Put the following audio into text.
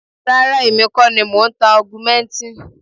Rárá o, èmi kọ́ ni mò ń ta augmentin.